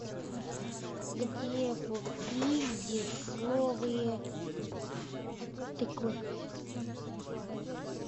где купить дешевые тыквы